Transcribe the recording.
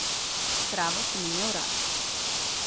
Travo sem imel rad.